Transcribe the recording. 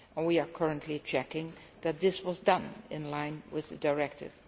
We are currently checking that this was done in line with the directive.